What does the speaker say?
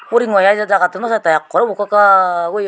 uringo i jagattun naw sattai ekkore ubok kakak oye.